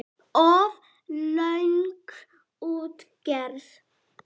Of löng útgerð.